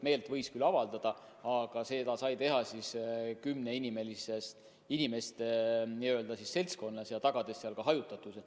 Meelt võis küll avaldada, aga seda sai teha maksimaalselt kümne inimese seltskonnas ja tagades seal hajutatuse.